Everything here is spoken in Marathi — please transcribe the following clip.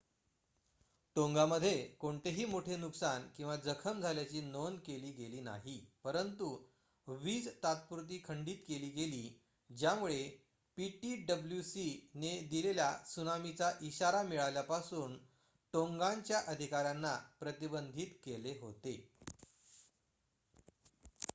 टोंगामध्ये कोणतेही मोठे नुकसान किंवा जखम झाल्याची नोंद केली गेली नाही परंतु वीज तात्पुरती खंडीत केली गेली ज्यामुळे ptwc ने दिलेल्या त्सुनामीचा इशारा मिळाल्यापासून टोंगानच्या अधिकार्‍यांना प्रतिबंधित केले होते